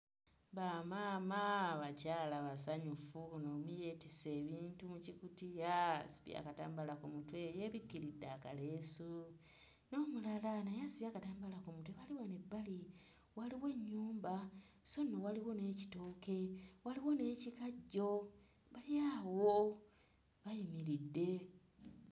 Bamaama abakyala basanyufu omu yeetisse ebintu mu kikutiya yeesibye akatambaala ku mutwe yeebikiridde akaleesu, n'omulala naye asibye akatambaala ku mutwe, bali wano ebbali, waliwo ennyumba so nno waliwo n'ekitooke waliwo n'ekikajjo bali awo bayimiridde.